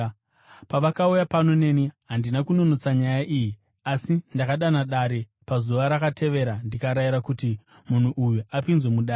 Pavakauya pano neni, handina kunonotsa nyaya iyi, asi ndakadana dare pazuva rakatevera ndikarayira kuti munhu uyu apinzwe mudare.